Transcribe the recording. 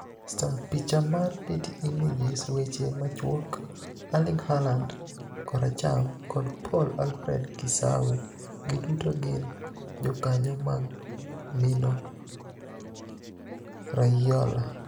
(Star) Picha mar Getty Images Weche machuok, Erlinig Haalanid (koracham) kod Paul Alfred Kisaawe giduto gini jokaniyo mag Mino Raiola.